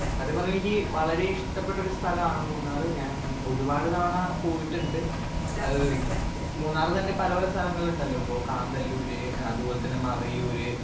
speaker 1 സത്യം പറഞ്ഞ എനിക്ക് വളരെ ഇഷ്ട്ടപ്പെട്ടൊരു സ്ഥലാണ് മൂന്നാർ ഞാൻ ഒരുപാട് തവണ പോയിട്ടുണ്ട് ഏഹ് മൂന്നാർ തന്നെ പല പല സ്ഥലങ്ങളിണ്ടല്ലോ ഇപ്പൊ കാന്തല്ലൂര് അതുപോലെ തന്നെ മറയൂർ